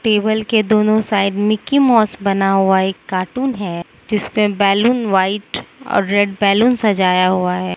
Table के दोनों side Mickey Mouse बना हुआ एक कार्टून है जिस पे बैलून व्हाइट और रेड बैलून सजाया हुआ है।